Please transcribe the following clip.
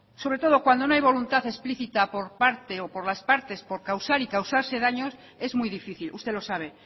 sobre todo cuando no hay voluntad explícita por las partes por causar y causarse daños es muy difícil y usted lo sabe